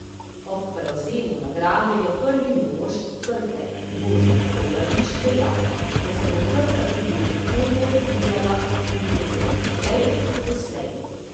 Ob prevzemu nagrade je prvi mož Krke Jože Colarič dejal, da se bo Krka tudi v prihodnje razvijala in to celo hitreje kot doslej.